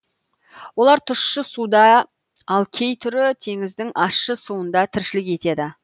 олар тұщы суда ал кей түрі теңіздің ащы суында тіршілік етеді